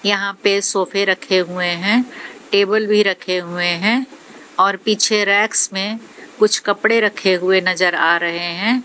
यहां पे सोफे रखे हुए हैं टेबल भी रखे हुए हैं और पीछे रेक्स में कुछ कपड़े रखे हुए नजर आ रहे हैं।